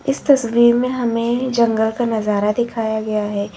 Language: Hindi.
इस तस्वीर में हमें जंगल का नजारा दिखाया गया है।